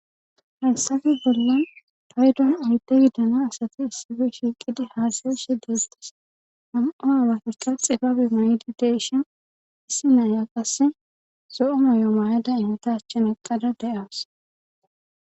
hayssafe bollan paydon oyde gidana asati issife shiiqidi haasayishe deettes ham7o haawatuxa xibabe maydi de7ishen issi na7iya qasse zo7o moyo mayada imita achchen eqqada de7awas.